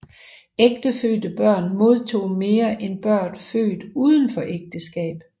Ægtefødte børn modtog mere end børn født udenfor ægteskab